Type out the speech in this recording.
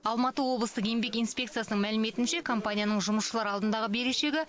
алматы облыстық еңбек инспекциясының мәліметінше компанияның жұмысшылар алдындағы берешегі